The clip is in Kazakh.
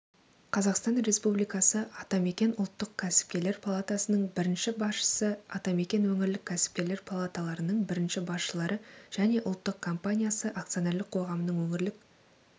қазақстан республикасы атамекен ұлттық кәсіпкерлер палатасының бірінші басшысы атамекен өңірлік кәсіпкерлер палаталарының бірінші басшылары және ұлттық компаниясы акционерлік қоғамының өңірлік